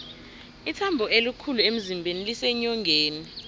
ithambo elikhulu emzimbeni liseenyongeni